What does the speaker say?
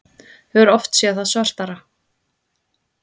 Hefur oft séð það svartara